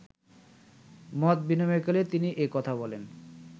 মতবিনিময়কালে তিনি এ কথা বলেন